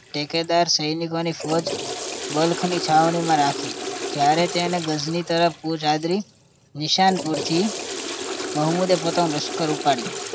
ટેકદર સૈનિકોની ફોજ બલ્કની છાવણીમાં રાખી જ્યારે તેને ગજની તરફ ફોજ હાજરી નિશાન પૂરતી મોહમ્મદ પોતાનું લશ્કર ઉપાડ્યું